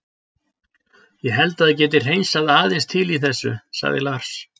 Ég held að það geti hreinsað aðeins til í þessu, sagði Lars.